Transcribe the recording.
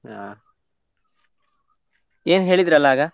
ಹಾ, ಏನ್ ಹೇಳಿದ್ರಲಾ ಆಗ?